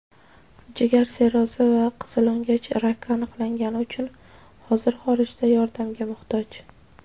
jigar sirrozi va qizilo‘ngach raki aniqlangani uchun hozir xorijda yordamga muhtoj.